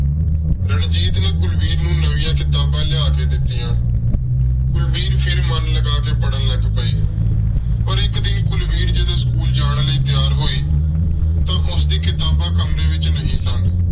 ਰਣਜੀਤ ਨੇ ਕੁਲਵੀਰ ਨੂੰ ਨਵੀਆਂ ਕਿਤਾਬਾਂ ਲਿਆ ਕੇ ਦਿੱਤੀਆਂ। ਕੁਲਵੀਰ ਫਿਰ ਮਨ ਲਗਾ ਕੇ ਪੜ੍ਹਨ ਲੱਗ ਪਈ। ਪਰ ਇੱਕ ਦਿਨ ਕੁਲਵੀਰ ਜਦੋਂ school ਜਾਣ ਲਈ ਤਿਆਰ ਹੋਈ ਤਾਂ ਉਸਦੀਆਂ ਕਿਤਾਬਾਂ ਕਮਰੇ ਵਿੱਚ ਨਹੀਂ ਸਨ।